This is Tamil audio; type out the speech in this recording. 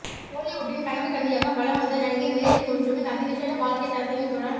ஹொலிவூட்டின் கனவுக்கன்னியாக வலம்வந்த நடிகை மேர்லின் மொன்றோவின் அதிவிஷேட வாழ்க்கைத் தரத்தினையும் தொழ